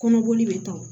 Kɔnɔboli bɛ taa